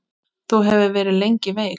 Þú hefur verið lengi veik.